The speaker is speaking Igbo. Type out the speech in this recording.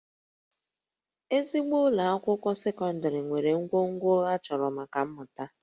Ezigbo ụlọ akwụkwọ sekọndịrị nwere ngwongwo a chọrọ maka mmụta